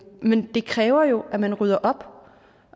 men det kræver jo at man rydder op og